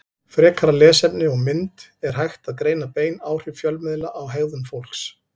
Frekara lesefni og mynd Er hægt að greina bein áhrif fjölmiðla á hegðun fólks?